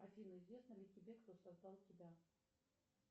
афина известно ли тебе кто создал тебя